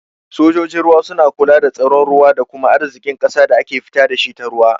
Sojojin ruwa suna kula da tsaron ruwa da kuma arzikin ƙasa da ake fita dashi ta ruwa.